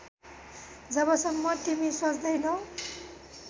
जबसम्म तिमी सोच्दैनौ